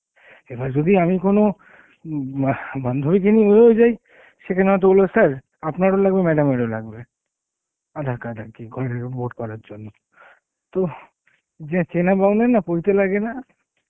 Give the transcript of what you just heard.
এবার যদি আমি কোনো, উম হা বান্ধবী কে নিয়েও যায় সেখানে হয়েত বলবে sir আপনার ও লাগবে, madam এর ও লাগবে aadhar card আর কি রিপোর্ট করার জন্য তো যে চেনা বাউনের না পৈতে লোগে না